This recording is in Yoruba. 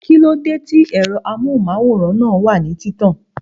Kíló dé tí ẹ̀rọ amóhùnmáwòrán náà wà ní títàn?